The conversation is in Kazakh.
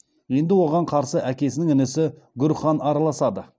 енді оған қарсы әкесінің інісі гүр хан араласады